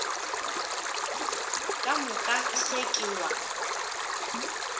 ka moka se ke wa